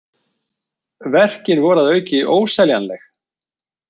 Verkin voru að auki óseljanleg.